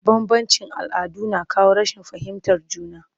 Bambanci all'adu na kawo rashin fahimtar juna